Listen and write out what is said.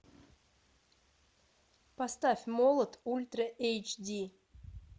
поставь молот ультра эйч ди